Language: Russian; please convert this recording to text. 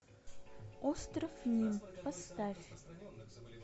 остров ним поставь